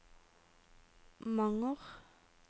Manger